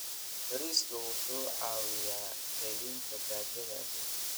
Bariiska wuxuu caawiyaa yareynta gaajada adduunka.